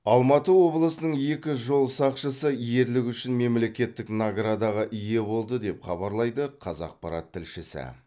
алматы облысының екі жол сақшысы ерлігі үшін мемлекеттік наградаға ие болды деп хабарлайды қазақпарат тілшісі